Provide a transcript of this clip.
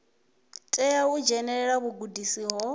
tea u dzhenelela vhugudisi ho